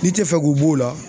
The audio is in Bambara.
N'i te fɛ k'u b'o la